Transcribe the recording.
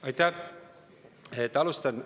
Aitäh!